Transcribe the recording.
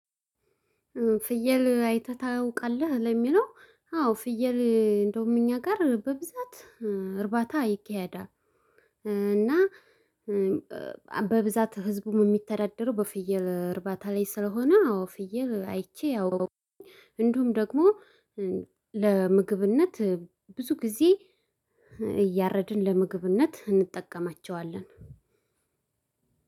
ፍየል አይተህ ታውቃለህ ለሚለው አዎ ፍየል እንደውም እኛ ጋር በብዛት እርባታ ይካሄዳል። እና በብዛት ህዝቡም የሚተዳደረው በፍየል እርባታ ላይ ስለሆነ አዎ ፍየል አይቼ። እንዲሁም ደግሞ ለምግብነት ብዙ ጊዜ እያረድን ለምግብነት እንጠቀማቸዋለን።